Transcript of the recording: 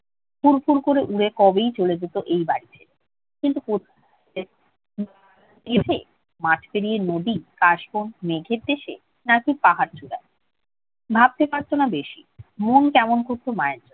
ফুড় ফুর করে উড়ে কবেই চলে যেত এই বাড়ি ছেড়ে। কিন্তু কোথায়? মাঠ পেরিয়ে নদী, কাশবন, মেঘের দেশে, নাকি পাহাড় চূড়োয়? ভাবতে পারছে না বেশি। মন কেমন করত মায়ের জন্য।